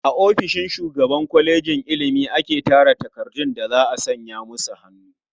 A ofishin shugaban kwalejin ilimi ake tara takardun da za a sanya musu hannu.